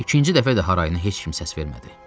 İkinci dəfə də harayına heç kim səs vermədi.